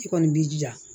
I kɔni b'i jija